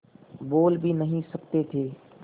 बोल भी नहीं सकते थे